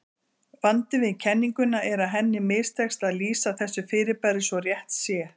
Vandinn við kenninguna er að henni mistekst að lýsa þessu fyrirbæri svo rétt sé.